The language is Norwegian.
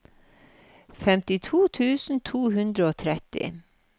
femtito tusen to hundre og tretti